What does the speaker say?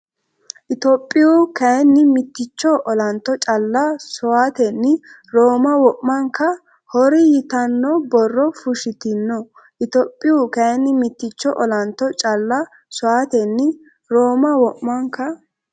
Itophiyu kayinni mitticho olanto calla sowaatenni Rooma wo’manka horri ” Yitanno borro fushshitino Itophiyu kayinni mitticho olanto calla sowaatenni Rooma wo’manka.